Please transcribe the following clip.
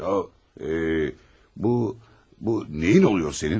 Yə, bu, bu nəyin olur sənin?